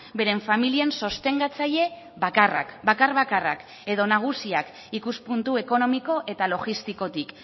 beren familien sostengatzaile bakarrak bakar bakarrak edo nagusiak ikuspuntu ekonomiko eta logistikotik